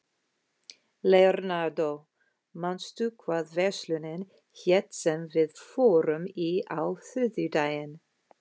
Leonardó, manstu hvað verslunin hét sem við fórum í á þriðjudaginn?